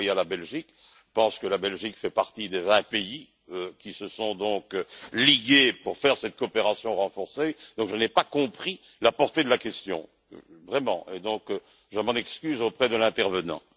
m'a renvoyé à la Belgique, il pense que la Belgique fait partie des 20 pays qui se sont donc ligués pour faire cette coopération renforcée, donc je n'ai pas compris la portée de la question, vraiment, donc je m'en excuse auprès de l'intervenant.